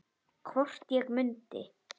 Hvort ég mundi.